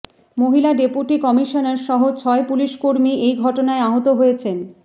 মহিলা deputy commissioner সহ ছয় পুলিশ কর্মী এই ঘটনায় আহত হয়েছেন